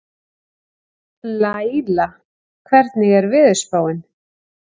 Laíla, hvernig er veðurspáin?